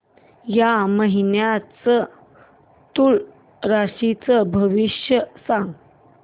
या महिन्याचं तूळ राशीचं भविष्य सांग